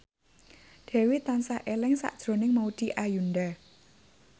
Dewi tansah eling sakjroning Maudy Ayunda